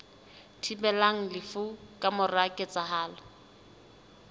thibelang lefu ka mora ketsahalo